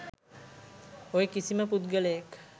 ඔය කිසිම පුද්ගලයෙක්